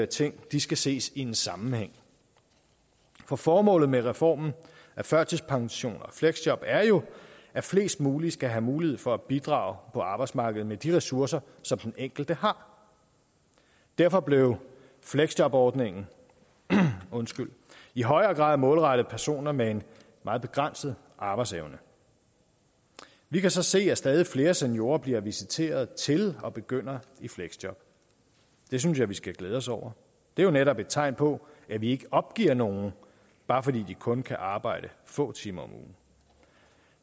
ting skal ses i en sammenhæng for formålet med reformen af førtidspension og fleksjob er jo at flest mulige skal have mulighed for at bidrage på arbejdsmarkedet med de ressourcer som den enkelte har derfor blev fleksjobordningen i højere grad målrettet personer med en meget begrænset arbejdsevne vi kan så se at stadig flere seniorer bliver visiteret til og begynder i fleksjob det synes jeg vi skal glæde os over det er jo netop et tegn på at vi ikke opgiver nogen bare fordi de kun kan arbejde få timer om ugen